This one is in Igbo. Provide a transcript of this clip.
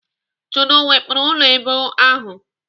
Chude o wepụrụ ụlọ èbù ahụ?